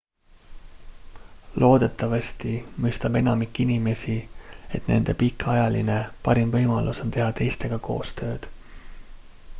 loodetavasti mõistab enamik inimesi et nende pikaajaline parim võimalus on teha teistega koostööd